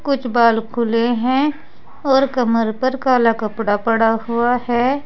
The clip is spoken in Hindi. कुछ बाल खुले हैं और कमर पर काला कपड़ा पड़ा हुआ है।